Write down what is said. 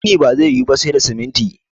gini ba zai yi Wu ba sai da siminti